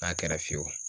N'a kɛra fiyewu